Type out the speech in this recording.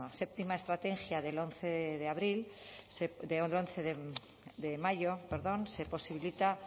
séptima estrategia del once de mayo se posibilita